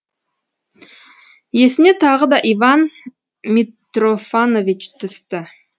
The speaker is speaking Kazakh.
есіне тағы да иван митрофанович түсті